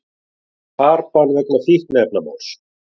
Farbann vegna fíkniefnamáls